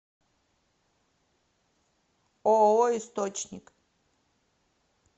ооо источник